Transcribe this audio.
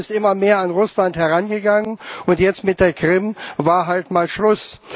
Die NATO ist immer mehr an Russland herangegangen, und jetzt mit der Krim war halt mal Schluss.